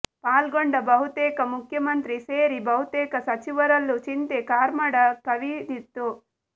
ಪಾಲ್ಗೊಂಡ ಬಹುತೇಕ ಮುಖ್ಯಮಂತ್ರಿ ಸೇರಿ ಬಹುತೇಕ ಸಚಿವರಲ್ಲೂ ಚಿಂತೆ ಕಾರ್ಮೋಡ ಕವಿದಿತ್ತು